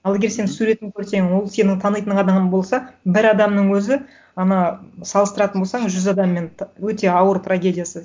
ал егер сен суретін көрсең ол сенің танитын адамың болса бір адамның өзі ана салыстыратын болсаң жүз адаммен өте ауыр трагедиясы